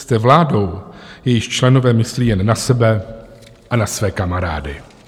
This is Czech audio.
Jste vládou, jejíž členové myslí jen na sebe a na své kamarády.